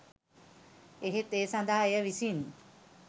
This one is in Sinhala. එහෙත් ඒ සඳහා එය විසින්